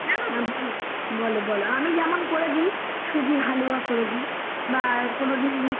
হ্যা বলো বলো আমি ওকে সুজির হালুয়া করে দি বা কোনোদিন একটু লুচি আর আলু কষা বা কোনোদিন